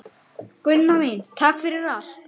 Takk fyrir allt, Gunna mín.